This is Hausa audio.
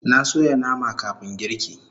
Na soya nama kafun girki